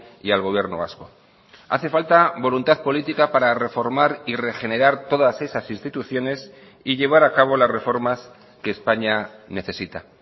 y al gobierno vasco hace falta voluntad política para reformar y regenerar todas esas instituciones y llevar a cabo las reformas que españa necesita